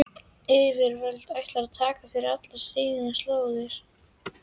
Yfirvöld ættu að taka fyrir alla slíka sóun.